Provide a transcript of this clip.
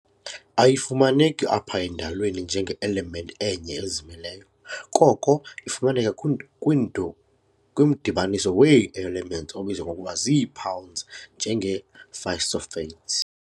Ayifumaneki apha endalweni njenge-element enye ezimeleyo, koko ifumaneka kwimdibaniso wee-elements obizwa ngokuba zii-compounds, njenge-phosphates.